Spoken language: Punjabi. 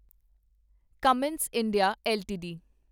Cummins India LTD